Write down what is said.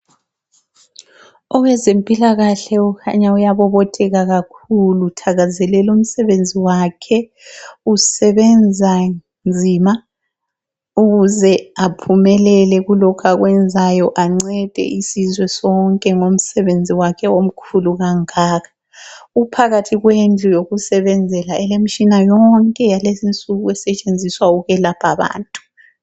Owezempilakahle ukhanya uyabobotheka kakhulu uthakazelela umsebenzi wakhe. Usebenza nzima ukuze aphumelele kulokhu akwenzayo ancede isizwe sonke ngomsebenzi wakhe omkhulu kangaka. Uphakathi kwendlu yokusebenzela elemitshina yonke yakulezinsuku esetshenziswa ukwelapha abantu.